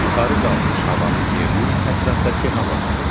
Yuxarı qalxmış havanın yerini ətrafdakı hava tutur.